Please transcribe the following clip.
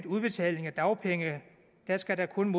udbetaling af dagpenge skal der kun